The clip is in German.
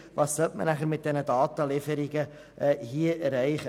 Was würde man mit diesen Datenlieferungen erreichen?